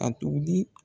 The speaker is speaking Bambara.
A tugun